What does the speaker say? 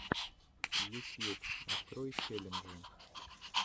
ютьюб открой челленджи